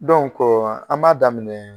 an b'a daminɛ